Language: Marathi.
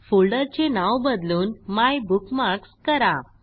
फोल्डरचे नाव बदलून मायबुकमार्क्स करा